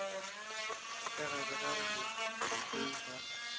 ka gare ga botse ga